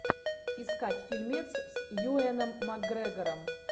искать фильмец с юэном макгрегором